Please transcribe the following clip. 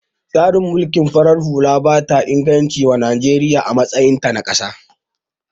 Tsarin mulkin farar hula bata da inganci wa Najeriya a matsayin ta na kasa